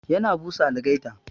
Yana busa algaita.